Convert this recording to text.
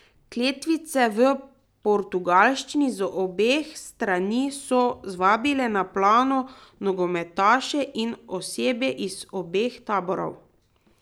Kletvice v portugalščini z obeh strani so zvabile na plano nogometaše in osebje iz obeh taborov.